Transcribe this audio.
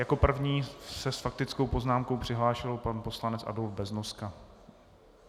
Jako první se s faktickou poznámkou přihlásil pan poslanec Adolf Beznoska.